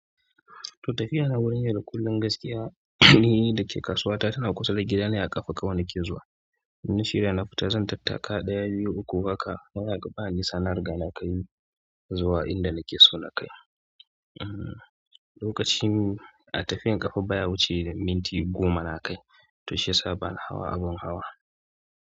To tafiya na wurin yau da kullum gaskiya ni da ke kasuwa ta tana kusa da gida ne a ƙafa kawai nake zuwa. Na shirya na fita zan tattaka ɗaya, biyu, uku haka baya ga ba nisa na riga na kai zuwa inda nake so na kai. Hmm lokacin a tafiyan ƙafa baya wuce minti goma na kai to shiyasa bana hawa abun hawa.